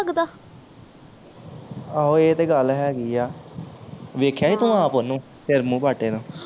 ਆਹੋ ਇਹ ਤੇ ਗੱਲ ਹੈਗੀ ਆ ਵੇਖਿਆ ਸੀ ਤੂੰ ਆਪ ਓਹਨੂੰ ਸਿਰ ਮੂੰਹ ਪਾਟੇ ਨੂੰ